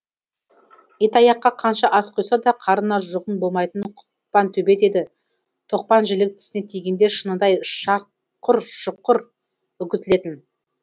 итаяққа қанша ас құйса да қарнына жұғын болмайтын құтпан төбет еді тоқпан жілік тісіне тигенде шыныдай шақұр шұқыр үгітілетін